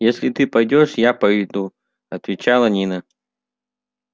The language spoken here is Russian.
если ты пойдёшь я пойду отвечала нина